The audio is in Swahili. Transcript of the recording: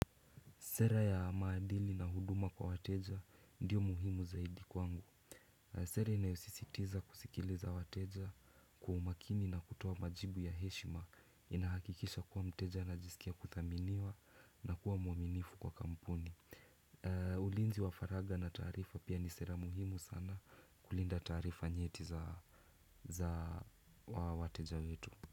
Sera ya maadili na huduma kwa wateja ndiyo muhimu zaidi kwangu. Sera inayosisitiza kusikiliza wateja kwa umakini na kutoa majibu ya heshima inahakikisha kuwa mteja anajisikia kuthaminiwa na kuwa muaminifu kwa kampuni. Ulinzi wa faragha na taarifa pia ni sera muhimu sana kulinda taarifa nyeti za wateja wetu.